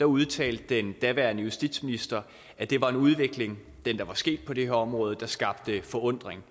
udtalte den daværende justitsminister at den udvikling der var sket på det her område skabte forundring